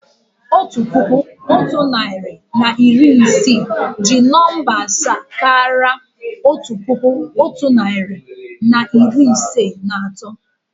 Otu puku, otu narị na iri isii jí nọ̀mbà asaa káraà otu puku, otu narị na iri ise na atọ